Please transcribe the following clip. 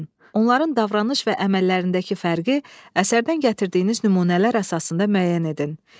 Onların davranış və əməllərindəki fərqi əsərdən gətirdiyiniz nümunələr əsasında müəyyən edin.